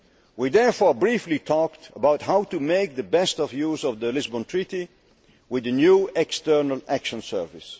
We therefore briefly talked about how to make the best use of the Lisbon Treaty, with the new External Action Service.